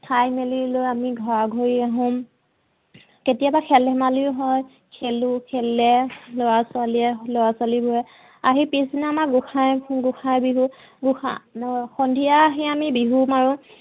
খাই মেলি লৈ আমি ঘৰা ঘৰি আহোঁ। কেতিয়াবা খেল ধেমালিও হয়, খেলোঁ খেলে লৰা ছোৱালীয়ে লৰা ছোৱালীবোৰে আহি পিছদিনা আমাৰ গোসাই গোসাই বিহু গোসা সন্ধিয়া আহি আমি বিহু মাৰোঁ